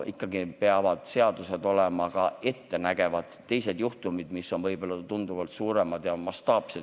Seadused peavad olema ka ettenägevad, võib tulla teisi juhtumeid, mis on tunduvalt suuremad ja mastaapsemad.